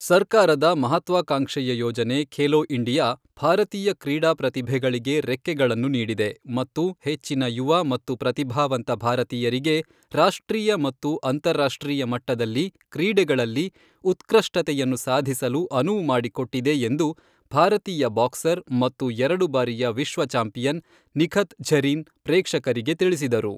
ಸರ್ಕಾರದ ಮಹತ್ವಾಕಾಂಕ್ಷೆಯ ಯೋಜನೆ ಖೇಲೊ ಇಂಡಿಯಾ ಭಾರತೀಯ ಕ್ರೀಡಾ ಪ್ರತಿಭೆಗಳಿಗೆ ರೆಕ್ಕೆಗಳನ್ನು ನೀಡಿದೆ ಮತ್ತು ಹೆಚ್ಚಿನ ಯುವ ಮತ್ತು ಪ್ರತಿಭಾವಂತ ಭಾರತೀಯರಿಗೆ ರಾಷ್ಟ್ರೀಯ ಮತ್ತು ಅಂತಾರಾಷ್ಟ್ರೀಯ ಮಟ್ಟದಲ್ಲಿ ಕ್ರೀಡೆಗಳಲ್ಲಿ ಉತ್ಕೃಷ್ಟತೆಯನ್ನು ಸಾಧಿಸಲು ಅನುವು ಮಾಡಿಕೊಟ್ಟಿದೆ ಎಂದು ಭಾರತೀಯ ಬಾಕ್ಸರ್ ಮತ್ತು ಎರಡು ಬಾರಿಯ ವಿಶ್ವ ಚಾಂಪಿಯನ್ ನಿಖತ್ ಝರೀನ್ ಪ್ರೇಕ್ಷಕರಿಗೆ ತಿಳಿಸಿದರು.